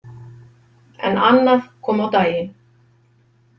En annað kom á daginn.